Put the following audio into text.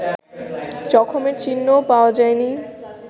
জখমের চিহ্নও পাওয়া যায়নি